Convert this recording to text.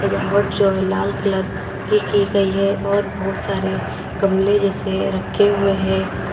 सजावट जो है लाल कलर की की गई है और बहुत सारे गमले जैसे रखे हुए हैं।